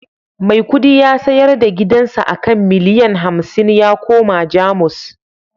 Maikudi ya sayar da gidansa a kan miliyan hamsin ya koma Jamus